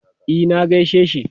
E, na gaishe shi.